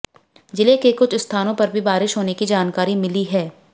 जिले के कुछ स्थानों पर भी बारिश होने की जानकारी मिली है